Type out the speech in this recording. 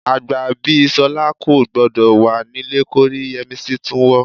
Àgbà bí Ṣọ́lé kò gbọdọ̀ wà nílé kórí Yẹ́misí tún wọ́